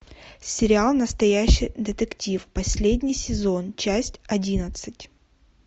сериал настоящий детектив последний сезон часть одиннадцать